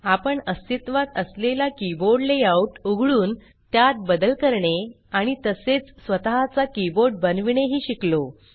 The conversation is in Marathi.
आपण अस्तित्त्वात असलेला कीबोर्ड लेआउट उघडून त्यात बदल करणे आणि तसेच स्वतः चा कीबोर्ड बनविणे ही शिकलो